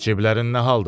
Ciblərin nə aldadı?